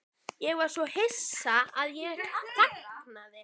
Ég var svo hissa að ég þagnaði.